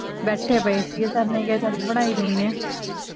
ਬੈਠੇ ਪਏ ਸੀ ਸਰ ਨੇ ਕਹਿਆ ਚਲ ਬਣਾ ਹੀ ਲੈਣੇ ਆ